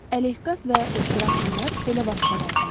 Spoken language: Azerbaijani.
Əleyhqaz və respiratorlar belə vasitələrdəndir.